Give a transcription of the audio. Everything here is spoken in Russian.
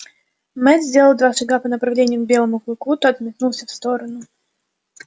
мэтт сделал два шага по направлению к белому клыку тот метнулся в сторону